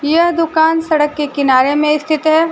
यह दुकान सड़क के किनारे में स्थित है।